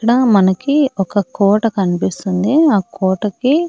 ఇక్కడ మనకి ఒక కోట కన్పిస్తుంది ఆ కోటకి--